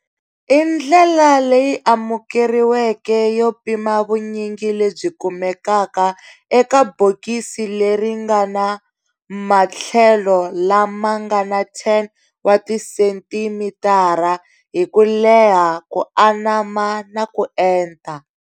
I ndlela leyi amukeriweke yo pima vunyingi lebyi kumekaka eka bokisi leri ngana mathlelo lama ngana 10 wa ti centimitara hi ku leha, ku anama na ku enta.